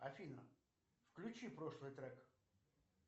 афина включи прошлый трек